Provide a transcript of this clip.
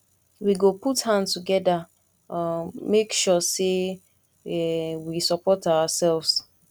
we go put hand together um make sure sey um we support oursef